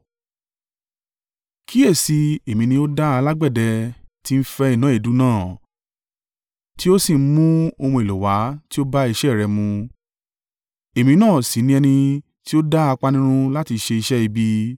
“Kíyèsi i, èmi ni ó dá alágbẹ̀dẹ tí ń fẹ́ iná èédú iná tí ó sì ń mú ohun èlò wá tí ó bá iṣẹ́ rẹ mu. Èmi náà sì ni ẹni tí ó dá apanirun láti ṣe iṣẹ́ ibi;